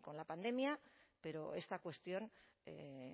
con la pandemia pero esta cuestión